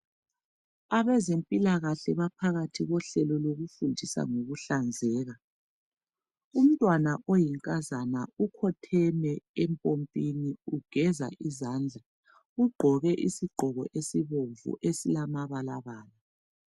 Abezempilakahle baphakathi kohlelo lokufundisa ngokuhlazeka umntwana oyinkazana ukhotheme empompini ugeza izandla ugqoke isigqoko esibomvu esilamabala bala.